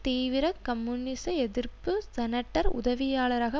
தீவிர கம்யூனிச எதிர்ப்பு செனட்டர் உதவியாளராக